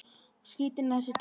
Skrítin er þessi tunga.